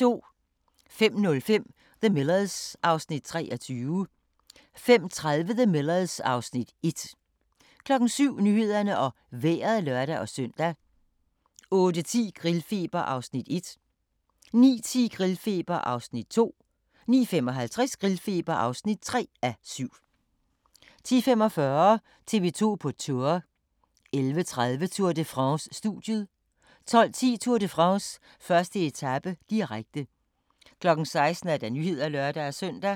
05:05: The Millers (Afs. 23) 05:30: The Millers (Afs. 1) 07:00: Nyhederne og Vejret (lør-søn) 08:10: Grillfeber (1:7) 09:10: Grillfeber (2:7) 09:55: Grillfeber (3:7) 10:45: TV 2 på Tour 11:30: Tour de France: Studiet 12:10: Tour de France: 1. etape, direkte 16:00: Nyhederne (lør-søn)